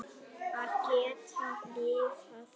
Að geta lifað.